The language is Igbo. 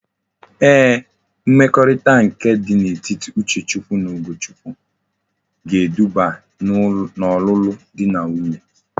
Ee mmekorita nke di na etiti Uchechukwu na Ugochukwu ga-eduba na olulu di na nwunye